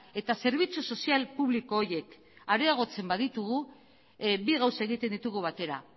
eta zerbitzu sozial publiko horiek areagotzen baditugu bi gauza egiten ditugu batera